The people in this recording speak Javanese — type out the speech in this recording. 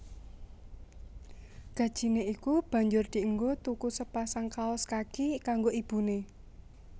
Gajine iku banjur dienggo tuku sepasang kaos kaki kanggo ibune